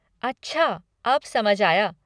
अच्छा अब समझ आया।